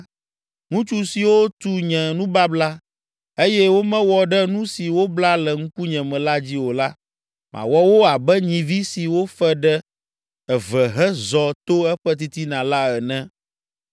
Ŋutsu siwo tu nye nubabla, eye womewɔ ɖe nu si wobla le ŋkunye me la dzi o la, mawɔ wo abe nyivi si wofe ɖe eve hezɔ to eƒe titina la ene.